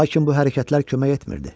Lakin bu hərəkətlər kömək etmirdi.